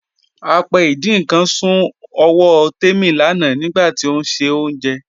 Apẹ́ ìdin nkan sún ọwọ́ Tẹ́mi lánà nigbàtí ó n ṣe ọ̀unjẹ́.